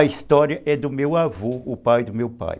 A história é do meu avô, o pai do meu pai.